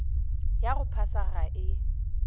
ya go phasa ga e